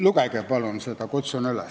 Lugege palun seda!